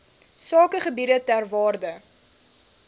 sakegebiede ter waarde